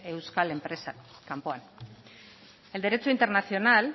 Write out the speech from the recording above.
euskal enpresak kanpoan el derecho internacional